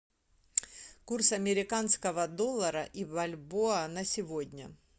курс американского доллара и бальбоа на сегодня